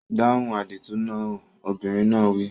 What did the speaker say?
Dáhùn àdìtú náà! Obìnrin náà wí.